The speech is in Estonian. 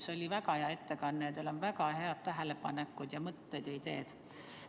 See oli väga hea ettekanne, teil on väga head tähelepanekud ja mõtted ja ideed.